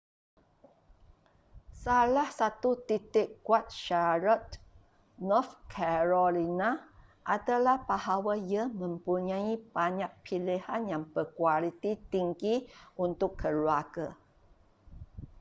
salah satu titik kuat charlotte north carolina adalah bahawa ia mempunyai banyak pilihan yang berkualiti tinggi untuk keluarga